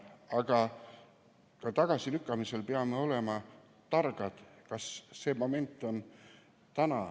Aga ka tagasilükkamisel peame olema targad ja teadma, kas see moment on täna.